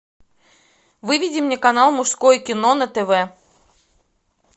выведи мне канал мужское кино на тв